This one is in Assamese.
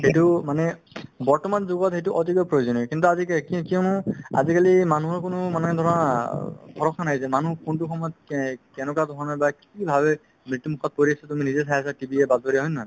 সেইটো মানে বৰ্তমান যুগত সেইটো অতিকৈ প্ৰয়োজনীয় কিন্তু আজি কে~ কি~ কিয়নো আজিকালি মানুহৰ কোনো মানে ধৰা অ পঢ়া-শুনা নাই যে মানুহ কোনতো সময়ত এই কেনেকুৱা ধৰণৰ বা কি ভাবে মৃত্যুমুখত পৰি আছে তুমি নিজে চাই আছা TV য়ে বাতৰিয়ে হয় নে নহয়